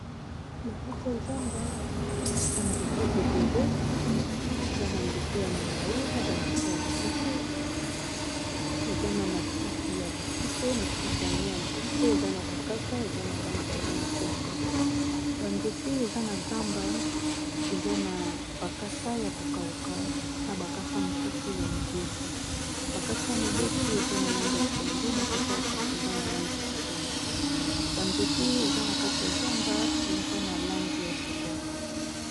Na kati ya zamba ba nzete ébélé, eza ba nzete ya milayi na ba nzete ya mikuse, Eza na matiti ya mikuse, matiti yango ya mikuse eza na ba kasa eza na langi ya mayi ya pondu, ba nzete eza na zamba eza na ba kasa ya ko kawuka na ba kasa misusu ya mobesu . Ba kasa ya mobesu eza na langi ya pondu ba kasa ya ko kawuka eza na langi ya chokolat, Ba nzete eza na kati ya zamba, eza na langi ya chokolat .